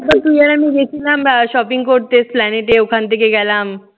তো তুই আর আমি গেছিলাম আহ shopping করতে স্লেনেটে। ওখান থেকে গেলাম